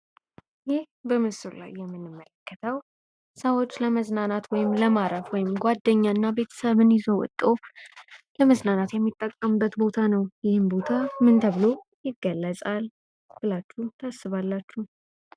ይህ በምስሉ ላይ የምንመለከተው ሰዎች ለመዝናናት ወይም ለማረፍ ወይም ጉዋደኛ እና በተሰብ ይዞ ወቶ ለመዝናናት የምንጠቀመው ቦታ ነው። ይህም ቦታ ምን ተብሎ ይገለጻል ብላችሁ ታስባላችሁ?